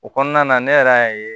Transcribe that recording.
O kɔnɔna na ne yɛrɛ y'a ye